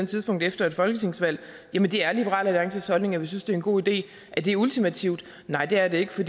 tidspunkt efter et folketingsvalg jamen det er liberal alliances holdning at vi synes det er en god idé er det ultimativt nej det er det ikke for